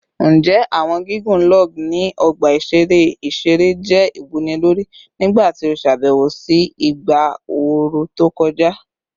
Njẹ awọn gigun log ni ọgba iṣere iṣere jẹ iwunilori nigbati o ṣabẹwo si igba ooru to kọja?